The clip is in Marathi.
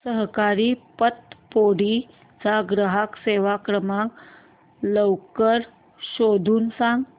सहकारी पतपेढी चा ग्राहक सेवा क्रमांक लवकर शोधून सांग